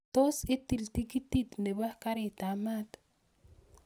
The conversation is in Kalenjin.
Tot itil tiketit nebo karit ab maat